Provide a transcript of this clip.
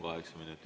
Kaheksa minutit.